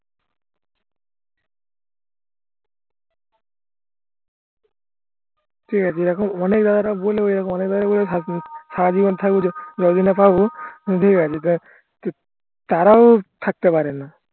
ঠিক আছে এরকম বলে এরকম সারাজীবন তারাও থাকতে পারেনা